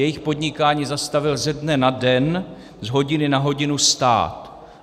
Jejich podnikání zastavil ze dne na den, z hodiny na hodinu stát.